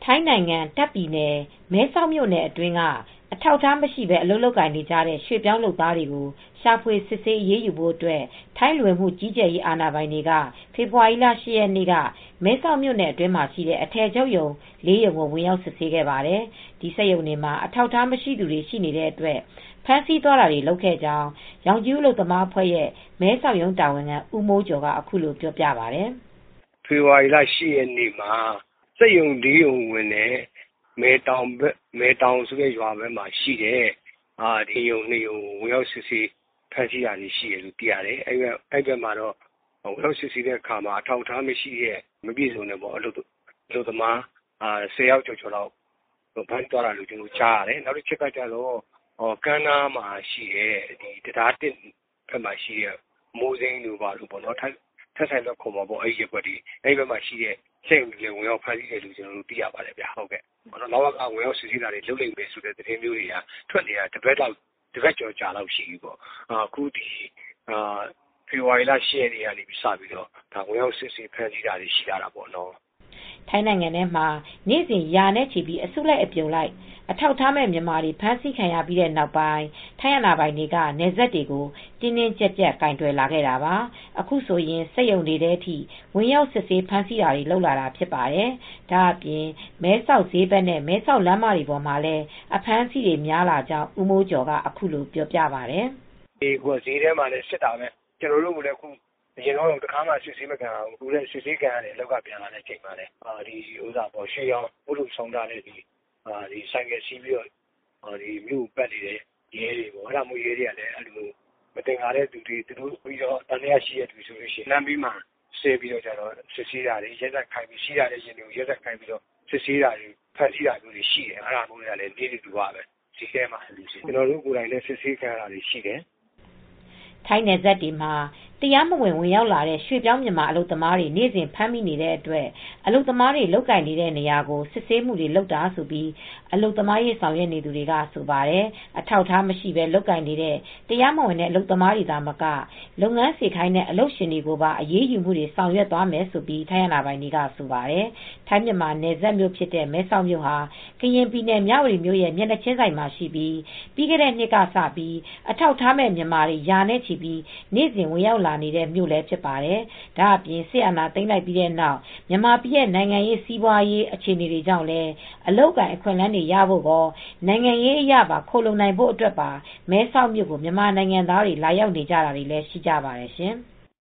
ထိုင်းနိုင်ငံ တာ့ခ်ပြည်နယ် မဲဆောက်မြိုနယ် အတွင်းက အထောက်အထားမရှိဘဲ အလုပ်လုပ်နေတဲ့ ရွှေ့ပြောင်းလုပ်သားတွေ ရှာဖွေစစ်ဆေးအရေးယူဖို့အတွက် ထိုင်းလူဝင်မှုကြီးကြပ်ရေး အာဏာပိုင်တွေ ဖေဖေါ်ဝါရီလ (၈)ရက်နေ့က မဲဆောက်မြိုနယ် အတွင်းမှာရှိတဲ့ အထည်ချုပ်ရုံ(၄)ရုံ ကို ဝင်ရောက်စစ်ဆေးခဲ့ပါတယ်။ အဲဒီစက်ရုံတွေမှာ အထောက်အထား မရှိသူတွေ ရှိနေတဲ့အတွက် ဖမ်းဆီးသွားတာတွေ လုပ်ခဲ့ကြောင်း ရောင်ခြည်ဦး အလုပ်သမားအဖွဲ့ရဲ့မဲဆောက်ရုံး တာဝန်ခံဦးမိုးကျော် က အခုလိုပြောပါတယ်။ " ဖေဖော်ဝါရီလ ၈ ရက်နေ့က စက်ရုံ ၄ရုံဝင်တယ်။ မယ်တောင်ဆိုတဲ့ ရွာဘက်မှာရှိတဲ့ စက်ရုံ ၂ရုံကိုဝင်ရောက်ပြီး ဖမ်းဆီးတာတွေရှိတယ်။အဲဒီဘက်မှာ ဝင်ရောက်စစ်ဆေးရာမှာ အထောက်အထားမရှိတဲ့ မပြည့်စုံတဲ့ အလုပ်သမား၁ဝယောက်ကျော်ကို ဖမ်းဆီးသွားတာရှိတယ်။ နောက်တချက်က ကမ်းနားမှာ တံတား(၁)နားမှာရှိတဲ့ အမိုးစိမ်းရုံတွေရှိတဲ့ နေရာတွေကို ထဆိုင်လုဝပ်နေရာတွေမှာလည်း ဝင်ရောက်စစ်ဆေးဖမ်းဆီးတာတွေရှိတယ်လို့သိရပါတယ် ။ လဝက ဝင်ရောက်စစ်ဆေးတာတွေ လုပ်လိမ့်မယ်ဆိုတဲ့ သတင်းတွေ ကြားတာ သတင်းထွက်နေတာ တပတ်ကျော်လောက်တော့ရှိပြီ အခုဖေဖေါ်ဝါရီလ ၈ရက်နေ့ကစပြီး စစ်ဆေးဖမ်းဆီးတာတွေရှိလာတာပေါ့နော် " ထိုင်းနိုင်ငံထဲမှာ နေ့စဉ်ရာနဲ့ချီပြီး အစုလိုက်အပြုံလိုက် အထောက်အထားမဲ့ မြန်မာတွေ ဖမ်းဆီးခံရပြီးတဲ့နောက် ထိုင်းအာဏာပိုင်တွေက နယ်စပ်တွေကို တင်းတင်းကြပ်ကြပ် ကိုင်တွယ်လာတာပါ။ အခုဆိုရင် စက်ရုံတွေထဲထိ ဝင်ရောက်စစ်ဆေးဖမ်းဆီးတာတွေ လုပ်လာတာဖြစ်ပါတယ်။ ဒါအပြင် မဲဆောက်ဈေးဘက် နဲ့ မဲဆောက်လမ်းမတွေပေါ်မှာလည်း အဖမ်းအဆီးတွေများလာကြောင်း ဦးမိုးကျော်ကအခုလိုပြောပါတယ်။ " ဈေးထဲမှာလည်း စစ်နေတာပဲ ကျနော်တို့လည်း အရင်က တခါမှ စစ်ဆေးမခံရဘူး ။ အခုတော့ အလုပ်က ပြန်လာချိန် စစ်ဆေးတာခံရတယ်။ ရွှေရောင်ဦးထုတ်ဆောင်းထားတဲ့ ဆိုင်ကယ်စီးပြီး မြို့ကိုပတ်နေတဲ့ ရဲတွေက မသင်္ကာရင် သံသယရှိတဲ့သူတွေ့ရင် လမ်းမှာစစ်ဆေးတာတွေရှိတယ်။လမ်းဘေးမှာ ယာဉ်တွေကိုရပ်ခိုင်းပြီး စစ်ဆေးတာတွေ ဖမ်းဆီးတာတွေရှိနေတယ် ။အဲဒါနိစ္စဓူဝလိုဖြစ်နေပြီ။ ဈေးထဲမှာပေါ့။ ကျနော်တို့ကိုယ်တိုင်လည်း စစ်ဆေးခံရတာတွေရှိနေတယ်" ထိုင်းနယ်စပ်တွေမှာ တရားမဝင် ဝင်ရောက်လာတဲ့ ရွှေ့ပြောင်းမြန်မာ အလုပ်သမားတွေ နေ့စဉ်ဖမ်းမိတဲ့အတွက် အလုပ်သမားတွေ လုပ်ကိုင်တဲ့နေရာကို စစ်ဆေးမှုတွေ လုပ်နေတာလို့ အလုပ်သမားရေး ဆောင်ရွက်နေသူတွေကဆိုပါတယ် ။ အထောက်အထားမရှိဘဲ လုပ်ကိုင်နေတဲ့ တရားမဝင်တဲ့ အလုပ်သမားတွေသာမက လုပ်ငန်းစေခိုင်းတဲ့ အလုပ်ရှင်ကိုပါ အရေးယူမှုတွေ ဆောင်ရွက်သွားမယ်လို့ ထိုင်းအာဏာပိုင်တွေကဆိုပါတယ် ။ ထိုင်းမြန်မာနယ်စပ်မြို့ဖြစ်တဲ့ မဲဆောက်မြို့ဟာ ကရင်ပြည်နယ် မြဝတီမြို့ရဲ့မျက်နှာချင်းဆိုင်မှာရှိပြီး ပြီးခဲ့တဲ့နှစ်ကစလို့ အထောက်အထားမဲ့မြန်မာတွေ ရာနဲ့ချီပြီး နေ့စဉ်ဝင်ရောက်နေတဲ့မြို့လည်းဖြစ်ပါတယ်။ ဒါအပြင်စစ်အာဏာသိမ်းလိုက်ပြီးတဲ့နောက် မြန်မာပြည်ရဲ့ နိုင်ငံရေး စစ်ရေး စီးပွာရေး အခြေနေတွေကြောင့် အလုပ်အကိုင်အခွင့်အလန်းတွေရဖို့ကော နိုင်ငံရေးအရခိုလှုံနိုင်ဖို့အတွက်ပါ မဲဆောက်မြို့ကိုမြန်မာနိုင်ငံသားတွေ လာရောက်နေကြတာတွေလည်းရှိကြပါတယ်ရှင်။